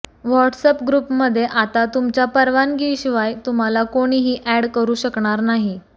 WhatsApp ग्रुपमध्ये आता तुमच्या परवानगीशिवाय तुम्हाला कोणीही अॅड करु शकणार नाही